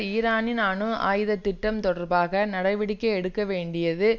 ஈரானின் அணு ஆயுத திட்டம் தொடர்பாக நடவடிக்கை எடுக்கவேண்டியது